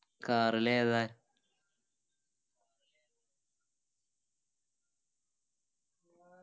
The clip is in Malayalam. car ലേതാ